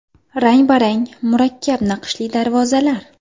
Rang-barang, murakkab naqshli darvozalar.